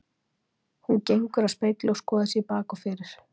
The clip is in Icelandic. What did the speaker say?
Hún gengur að spegli og skoðar sig í bak og fyrir.